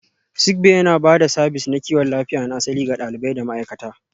Sick Bay yana ba da sabis na kiwon lafiya na asali ga ɗalibai da ma'aikata.